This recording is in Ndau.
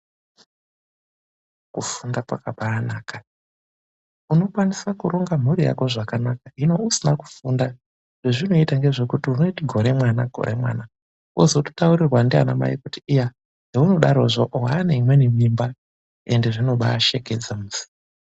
Kufunda kwakabaanaka, unokwanisa kuronga mhuri yako zvakanaka. Hino usina kufunda, zvezvinoita ngezvekuti unoite gore mwana gore mwana, wozototaurirwa ndiana mai kuti iya heunodarozvo waane imweni mimba, ende zvinobaa shekedza.